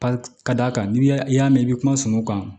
Ka d'a kan n'i y'a mɛn i bɛ kuma sɔngɔ kan